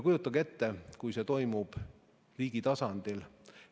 Kujutage ette, kui see toimub riigi tasandil.